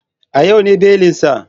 A yau ne belin sa.